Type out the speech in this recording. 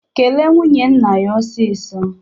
Kele nwunye nna gị ọsịsó!